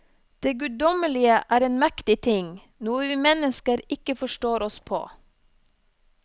Det guddommelige er en mektig ting, noe vi mennesker ikke forstår oss på.